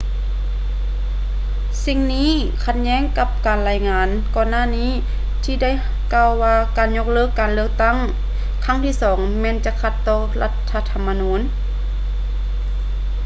ສິ່ງນີ້ຂັດແຍ້ງກັບການລາຍງານກ່ອນໜ້ານີ້ ທີ່ໄດ້ກ່າວວ່າການຍົກເລີກການເລືອກຕັ້ງຄັ້ງທີ່ສອງແມ່ນຈະຂັດຕໍ່ລັດຖະທຳມະນູນ